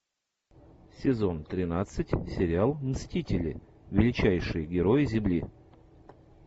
сезон тринадцать сериал мстители величайшие герои земли